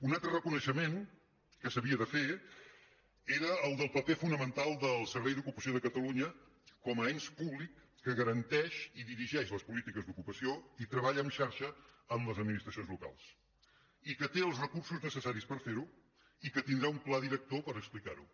un altre reconeixement que s’havia de fer era el del paper fonamental del servei d’ocupació de catalunya com a ens públic que garanteix i dirigeix les polítiques d’ocupació i treballa en xarxa amb les administracions locals i que té els recursos necessaris per fer·ho i que tindrà un pla director per explicar·ho